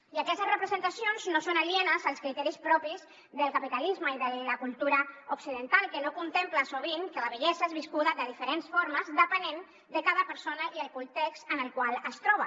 i aquestes representacions no són alienes als criteris propis del capitalisme i de la cultura occidental que no contempla sovint que la vellesa és viscuda de diferents formes depenent de cada persona i el context en el qual es troba